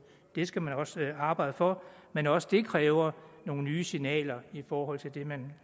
det skal man arbejde for men også det kræver nogle nye signaler i forhold til det man